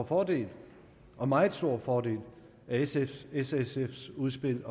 fordel og meget stor fordel af s og sfs udspil